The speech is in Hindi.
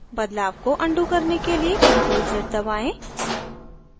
बदलाव को undo करने के लिए ctrl + z दबाएँ